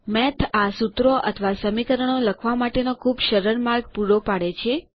math આ સુત્રો અથવાં સમીકરણો લખવા માટેનો ખૂબ સરળ માર્ગ પૂરો પાડે છે